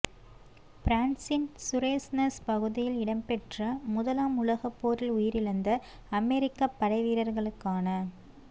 பிரான்சின் சுரேஸ்னெஸ் பகுதியில் இடம்பெற்ற முதலாம் உலகப் போரில் உயிரிழந்த அமெரிக்கப் படைவீரர்களுக்கான